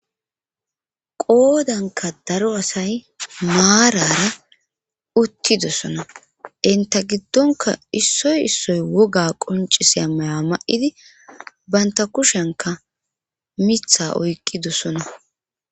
qoodanka daro asay maarara uttidossona enta giddonka issoy issoy woga qoncisiya maya ma7idi baynta kushenka mitha oykkidosona